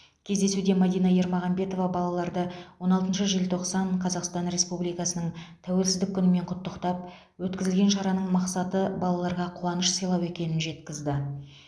кездесуде мадина ермағанбетова балаларды он алтыншы желтоқсан қазақстан республикасының тәуелсіздік күнімен құттықтап өткізілген шараның мақсаты балаларға қуаныш сыйлау екенін жеткізді